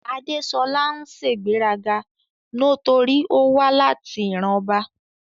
Adeṣọla ń ṣegberaga notori owa lati iran ọba